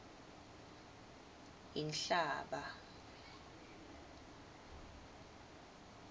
inhlaba